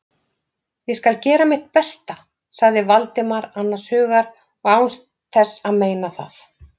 Ég skal gera mitt besta- sagði Valdimar annars hugar og án þess að meina það.